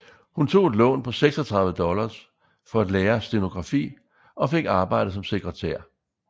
Hun tog et lån på 36 dollars for at lære stenografi og fik arbejde som sekretær